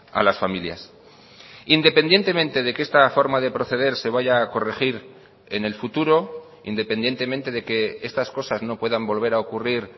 a las familias independientemente de que esta forma de proceder se vaya a corregir en el futuro independientemente de que estas cosas no puedan volver a ocurrir